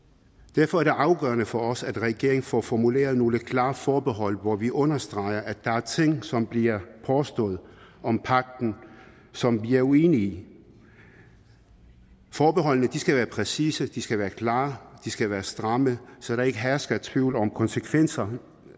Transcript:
derfor er det afgørende for os at regeringen får formuleret nogle klare forbehold hvor vi understreger at der er ting som bliver påstået om pagten som vi er uenige i forbeholdene skal være præcise de skal være klare og de skal være stramme så der ikke hersker tvivl om konsekvenser